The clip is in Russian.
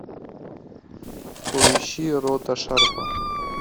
поищи рота шарпа